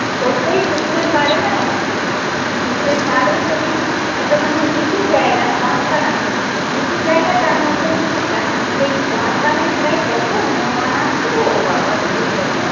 সত্যিই পুকুরের পারে না পুকুরের পার বলতে কি একটা মানে উঁচু জায়গা বাঁশবাগান তো উঁচু জায়গা তার মধ্যে পুকুরটা সেই বাঁশবাগানের গায়ে কত হনুমান আসতো গো বাবারে কত